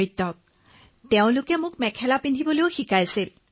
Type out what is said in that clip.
আৰু তেওঁলোকে মোক মেখেলা পিন্ধিবলৈও শিকালে